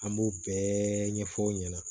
An b'o bɛɛ ɲɛfɔ aw ɲɛna